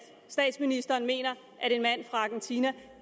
statsministeren mener at en mand fra argentina